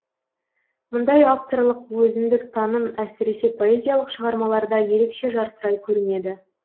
мұндай авторлық өзіндік таным әсіресе поэзиялық шығармаларда ерекше жарқырай көрінеді